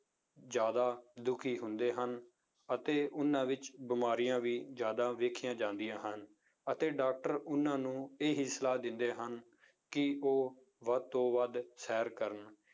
ਜ਼ਿਆਦਾ ਦੁਖੀ ਹੁੰਦੇ ਹਨ, ਅਤੇ ਉਹਨਾਂ ਵਿੱਚ ਬਿਮਾਰੀਆਂ ਵੀ ਜ਼ਿਆਦਾ ਵੇਖੀਆਂ ਜਾਂਦੀਆਂ ਹਨ, ਅਤੇ doctor ਉਹਨਾਂ ਨੂੰ ਇਹੀ ਸਲਾਹ ਦਿੰਦੇ ਹਨ, ਕਿ ਉਹ ਵੱਧ ਤੋਂ ਵੱਧ ਸੈਰ ਕਰਨ